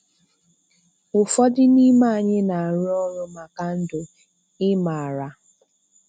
Ụfọdụ n'ime anyị na-arụ ọrụ maka ndụ, ị maara.